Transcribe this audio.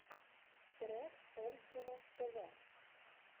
трек омского тв